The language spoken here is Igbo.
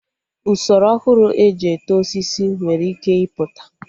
Usoro ọhụrụ eji eto osisi nwere ike ịpụta